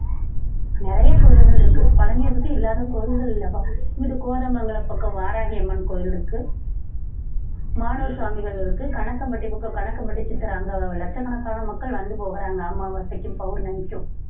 நிறைய கோயில்கள் இருக்கு பழனிய சுத்தி இல்லாத கோயில்கள் இல்லப்பா. இங்கிட்டு கோதமங்கலம் பக்கம் வாராகி அம்மன் கோவில் இருக்கு மானூர் சாமிகள் இருக்கு கணக்கம்பட்டி பக்கம் கணக்கம்பட்டி சித்தர் அங்க லட்சக்கணக்கான மக்கள் வந்து போகறாங்க அங்க அமாவாசைக்கும் பௌர்ணமிக்கும்